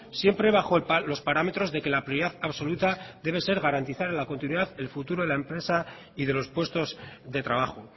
siempre bajo los parámetros de que la prioridad absoluta debe ser garantizar la continuidad el futuro de la empresa y de los puestos de trabajo